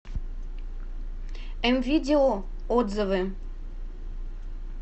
мвидео отзывы